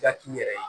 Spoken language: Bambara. Yak'i yɛrɛ ye